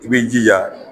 I b'i jija